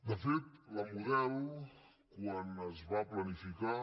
de fet la model quan es va planificar